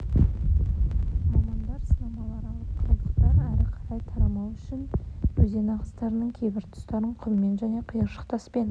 мамандар сынамалар алып қалдықтар әрі қарай тарамау үшін өзен ағыстарының кейбір тұстарын құммен және қиыршық таспен